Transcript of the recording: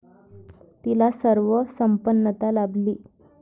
तिला सर्व संपन्नता लाभली.